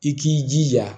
I k'i jija